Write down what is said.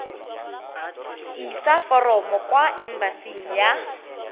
isa foromo kwa embasing ya